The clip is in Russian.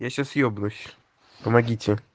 я сейчас ебнусь помогите